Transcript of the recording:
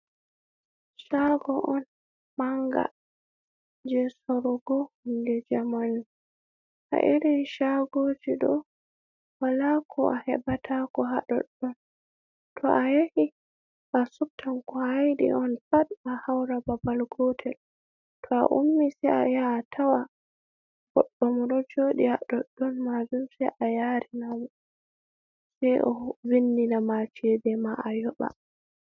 Shargo on manga je sorugo hunde jamanu, ha irin shagoji doe wala ko a heɓata, ko ha doɗɗon to a yahi a subtan ko h a yidi on pat, a haura babal gotel, to a ummi sei a yaha atawa goɗɗo mo ɗo joɗi ha doɗɗon majum, sei a yari namo, sei o vindina ma cede ma a yoɓa.